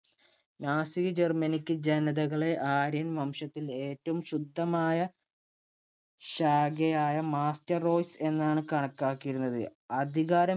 Nazi Germanic ജനതകളെ, ആര്യൻ വംശത്തിന്‍റെ ഏറ്റവും ശുദ്ധമായ ശാഖയായ master roise എന്നാണ് കണക്കാക്കിയിരുന്നത്. അധികാരം